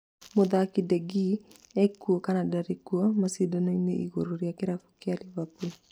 Mũthaki De Gea ekuo kana ndarĩ kuo macindano-inĩ igũrũ rĩa kĩrabu kĩa Liverpool